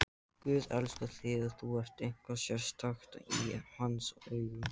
Guð elskar þig, þú ert eitthvað sérstakt í hans augum.